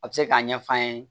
A bɛ se k'a ɲɛf'an ye